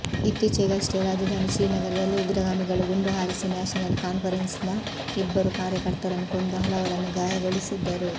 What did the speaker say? ಇತ್ತೀಚೆಗಷ್ಟೇ ರಾಜಧಾನಿ ಶ್ರೀನಗರದಲ್ಲಿ ಉಗ್ರಗಾಮಿಗಳು ಗುಂಡು ಹಾರಿಸಿ ನ್ಯಾಷನಲ್ ಕಾನ್ಫೆರೆನ್ಸ್ನ ಇಬ್ಬರು ಕಾರ್ಯಕರ್ತರನ್ನು ಕೊಂದು ಹಲವರನ್ನು ಗಾಯಗೊಳಿಸಿದ್ದರು